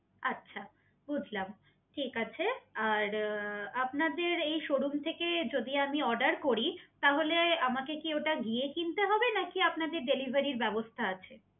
আচ্ছা বুঝলাম ঠিক আছে আর আপনাদের এই শোরুম থেকে যদি আমি অর্ডার করি তাহলে আমাকে কি ওটা গিয়ে কিনতে হবে? নাকি আপনাদের ডেলিভারির ব্যবস্থা আছে?